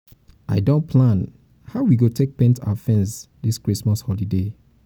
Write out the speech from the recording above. i don plan don plan how we go take paint our fence this christmas holiday